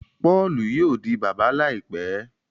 Paulú yóò di bàbá láìpé